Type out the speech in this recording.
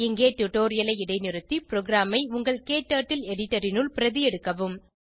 இங்கே டுடோரியலை இடைநிறுத்தி ப்ரோகிராமை உங்கள் க்டர்ட்டில் எடிட்டர் னுள் பிரதி எடுக்கவும்